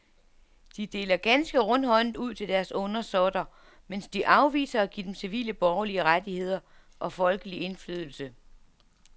De deler ganske rundhåndet ud til deres undersåtter, mens de afviser at give dem civile borgerlige rettigheder og folkelig indflydelse.